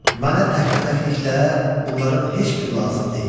Mənə təkbətəkliklə bunların heç biri lazım deyil.